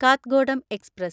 Kathgodam express